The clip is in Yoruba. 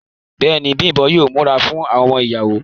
Bẹ́ẹ̀ni, Bimbo yóò múra fún àwọn ọmọ ìyàwó.